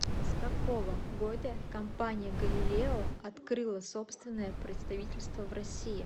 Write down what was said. с какого года компания галилео открыла собственное представительство в россии